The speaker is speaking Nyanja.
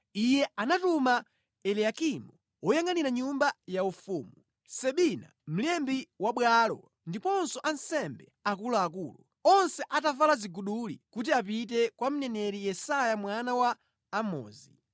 Iye anatuma Eliyakimu woyangʼanira nyumba ya mfumu, Sebina mlembi wa bwalo, ndi ansembe akuluakulu, onse atavala ziguduli, kwa mneneri Yesaya mwana wa Amozi.